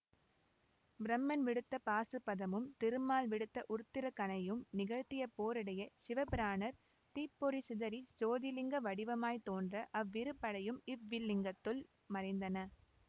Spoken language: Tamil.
பிரமன் விடுத்த பாசுபதமும் திருமால் விடுத்த உருத்திரக்கணையும் நிகழ்த்திய போரிடையே சிவபிரானார் தீப்பொறி சிதறச் சோதிலிங்க வடிவமாய்த் தோன்ற அவ்விரு படையும் இவ்விலிங்கத்துள் மறைந்தன